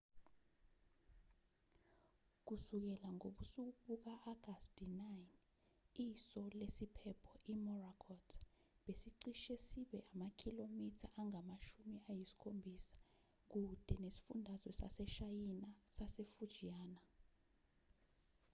kusukela ngobusuku buka-agasti 9 iso lesiphepho imorakot besicishe sibe amakhilomitha angamashumi ayisikhombisakude nesifundazwe saseshayina sasefujiana